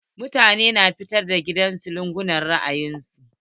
Mutane su na fentin gidajen su da launin ra'ayin su.